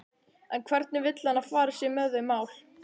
En hvernig vill hann að farið sé með þau mál?